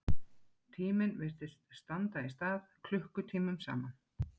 Tíminn virtist standa í stað klukkutímum saman.